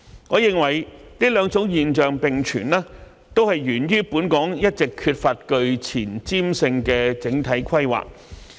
我認為這兩種現象並存，也是源於本港一直缺乏具前瞻性的整體規劃。